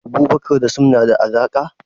Abubakar da Sim na da alaka?